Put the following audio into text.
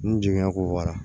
N jiginya ko bɔra